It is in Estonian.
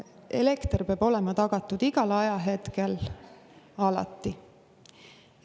Elekter peab olema tagatud igal ajahetkel, alati.